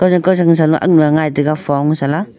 kafang kajang shanu aknu ngai taiga foungshela.